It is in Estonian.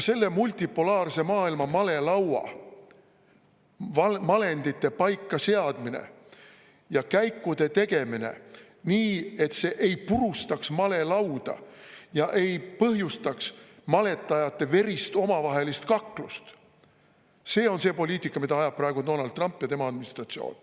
Selle multipolaarse maailma malelaua malendite paika seadmine ja käikude tegemine nii, et see ei purustaks malelauda ega põhjustaks maletajate omavahelist verist kaklust – see on see poliitika, mida ajab praegu Donald Trump ja tema administratsioon.